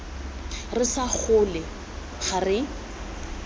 re sa gole ga re